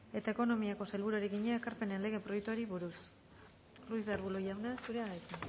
eta ekonomiako sailburuari egina ekarpenen lege proiektuari buruz ruiz de arbulo jauna zurea da hitza